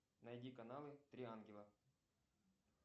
найди каналы три ангела